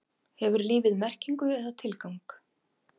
Hefur lífið merkingu eða tilgang?